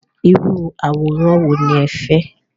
Irú àwòrán wo ni ẹ fẹ́?